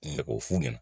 Ne k'o f'u ɲɛna